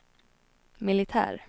militär